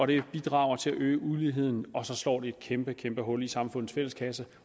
det bidrager til at øge uligheden og så slår det et kæmpe kæmpe hul i samfundets fælles kasse